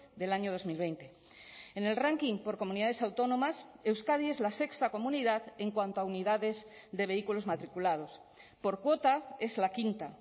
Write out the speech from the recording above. del año dos mil veinte en el ranking por comunidades autónomas euskadi es la sexta comunidad en cuanto a unidades de vehículos matriculados por cuota es la quinta